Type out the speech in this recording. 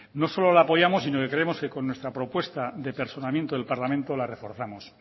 no solo lo apoyamos sino que creemos que con nuestra propuesta de personamiento del parlamento la reforzamos